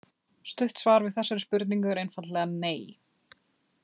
Stutt svar við þessari spurningu er einfaldlega nei!